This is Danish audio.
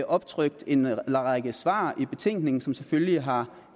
optrykt en række svar i betænkningen som selvfølgelig har